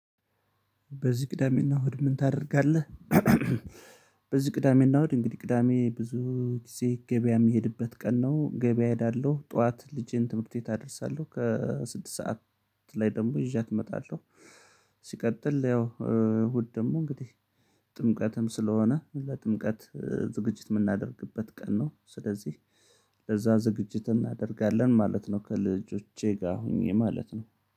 በዚህ ቅዳሜና እሁድ ምን ታደርጋለህ? በዚህ ቅዳሜና እሁድ እንግዲህ ቅዳሜ ብዙ ጊዜ ገበያ የሚሄድበት ቀን ነው ገበያ እሄዳለሁ ጠዋት ልጄን ትምህርት ቤት አደርሳለሁ ከስድስት ሰዓት ላይ ደግሞ ይዣት እመጣለሁ። ሲቀጥል ያው እሁድ ደግሞ እንግዲህ ጥምቀትም ስለሆነ ለጥምቀት ዝግጅት የምናደርግበት ቀን ነው። ስለዚህ ለዛ ዝግጅት እናደርጋለን ማለት ነው። ከልጆቼ ጋር ሆኜ ማለት ነው